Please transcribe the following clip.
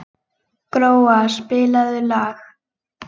Gróa, spilaðu lag.